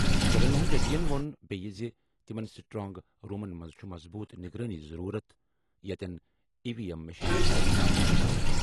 جگن موہن ریڈی یَن ووٚن بیٚیہِ یہِ زِ تِمَن سٹرانگ رومَن منٛز چُھ مضبوٗط نگرٲنی ضروٗرت یتٮ۪ن ای وی ایم مشینہٕ چھِ تھاونہٕ یِوان۔